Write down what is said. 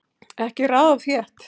Ekki raða of þétt